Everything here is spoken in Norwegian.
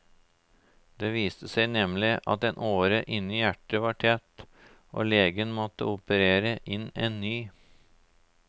Det viste seg nemlig at en åre inne i hjertet var tett og legene måtte operere inn en ny.